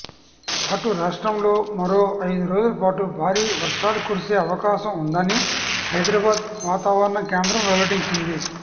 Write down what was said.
అటు రాష్ట్రంలో మరో ఐదు రోజులపాటు భారీ వర్షాలు కురిసే అవకాశం ఉందని హైదరాబాద్ వాతావరణ కేంద్రం వెల్లడించింది